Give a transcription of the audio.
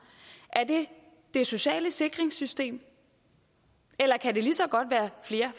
er det det sociale sikringssystem eller kan det lige så godt være flere